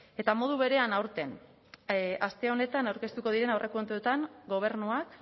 eta modu berean aurten aste honetan aurkeztuko diren aurrekontuetan gobernuak